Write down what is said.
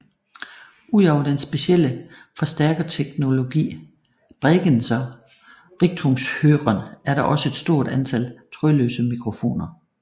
Ud over den specielle forstærkerteknologi Bregenzer Richtungshören er der også et stort antal trådløse mikrofoner